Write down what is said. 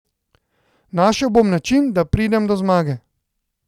Našel bom način, da pridem do zmage.